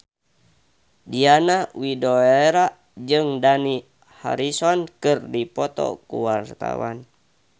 Diana Widoera jeung Dani Harrison keur dipoto ku wartawan